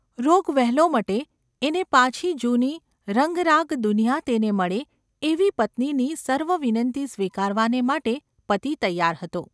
રોગ વહેલો મટે એને પાછી જૂની રંગરાગ દુનિયા તેને મળે એવી પત્નીની સર્વવિનંતી સ્વીકારવાને માટે પતિ તૈયાર હતો.